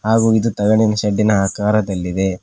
ಹಾಗು ಇದು ತಗಡಿನ ಶೆಡ್ಡಿನ ಆಕಾರದಲ್ಲಿದೆ.